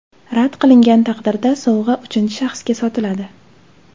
Rad qilingan taqdirda sovg‘a uchinchi shaxsga sotiladi.